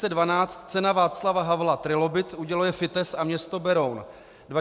Cena Václava Havla Trilobit, uděluje FITES a město Beroun;